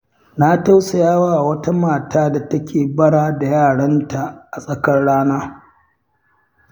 Na tausayawa wata mata da take bara da yaranta a tsakar rana.